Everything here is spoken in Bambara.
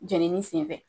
Jenini senfɛ